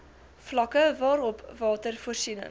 vlakke waarop watervoorsiening